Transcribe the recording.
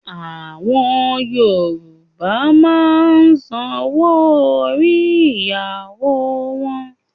À̀wọn Yorùbá máa ń sanwó orí ìyàwó wọn